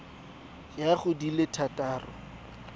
ya go di le thataro